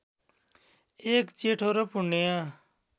एक जेठो र पुण्य